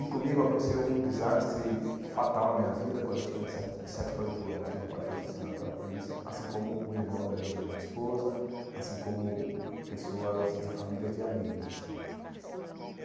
E comigo aconteceu um desastre fatal na minha vida, quando eu tinha sete de sete para oito anos, que meu pai foi assassinado pela polícia, assim como o irmão da minha esposa, assim como pessoas de família, de amigos assim.